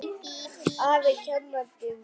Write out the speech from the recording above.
Afi kenndi mér reglu.